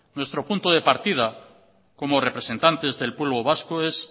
nuestro punto de partida como representantes del pueblo vasco es